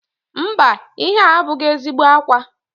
Mba, ihe a abụghị ezigbo ákwà